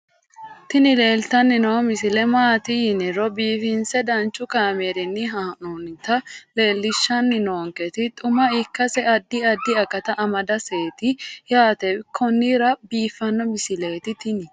tini leeltanni noo misile maaati yiniro biifinse danchu kaamerinni haa'noonnita leellishshanni nonketi xuma ikkase addi addi akata amadaseeti yaate konnira biiffanno misileeti tini